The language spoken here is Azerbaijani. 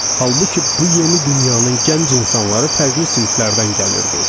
Halbuki bu yeni dünyanın gənc insanları fərqli siniflərdən gəlirdi.